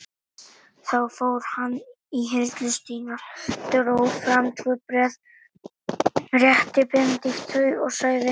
Þá fór hann í hirslur sínar, dró fram tvö bréf, rétti Benedikt þau og sagði